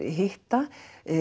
hitta